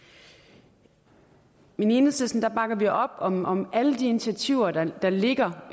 i enhedslisten bakker vi op om om alle de initiativer der ligger